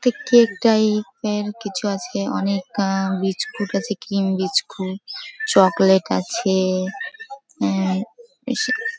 ইটা cake type -এর কিছু আছে অনেক আ বিসকুট আছে ক্রিম বিসকুট চোকলেট্ আছে এ এ বেশি--